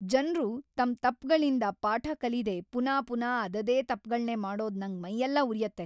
ಜನ್ರು ತಮ್ ತಪ್ಪ್‌ಗಳಿಂದ ಪಾಠ ಕಲೀದೇ ಪುನಾ ಪುನಾ ಅದದೇ ತಪ್ಗಳ್ನೇ ಮಾಡೋದು ನಂಗ್‌ ಮೈಯೆಲ್ಲ ಉರ್ಯತ್ತೆ.